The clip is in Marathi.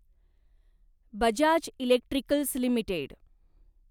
Bajaj electricals limited